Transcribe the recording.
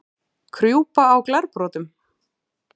Krjúpa á glerbrotum?